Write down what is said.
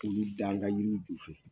Olu da an ka yiriw ju fɛ.